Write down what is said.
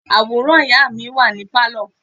Àwòrán ìyá mi wà ní Pálọ̀.